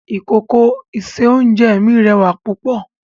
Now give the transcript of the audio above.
Ìkòkò ìse-oúnjẹ mi rẹwà púpọ̀